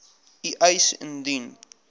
u eis indien